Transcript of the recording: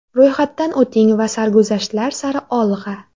Ro‘yxatdan o‘ting va sarguzashtlar sari olg‘a!